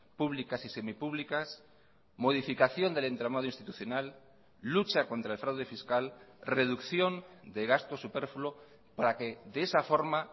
públicas y semipúblicas modificación del entramado institucional lucha contra el fraude fiscal reducción de gastos superfluo para que de esa forma